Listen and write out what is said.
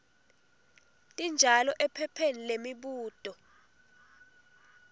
tinjalo ephepheni lemibuto